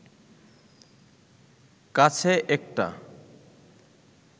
কাছে একটা